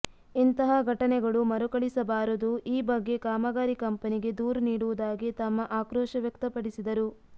ಇಂತಹ ಘಟನೆಗಳು ಮರುಕಳಿಸಿಬಾರದು ಈ ಬಗ್ಗೆ ಕಾಮಗಾರಿ ಕಂಪನಿಗೆ ದೂರು ನೀಡುವುದಾಗಿ ತಮ್ಮ ಆಕ್ರೋಶ ವ್ಯಕ್ತಪಡಿಸಿದರು